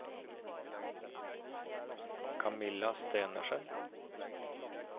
Kamilla Stenersen